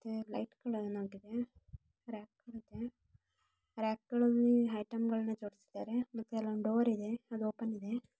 Rack ಗಳು ಇದೆ rack ಗಳಲ್ಲಿ ಐಟಂಗಳು ಜೋಡ್ಸಿಧಾರೆ ಮತ್ತೆ ಅಲ ಒಂದು ಡೋರ್ ಇದೆ ಓಪನ್ ಇದೆ.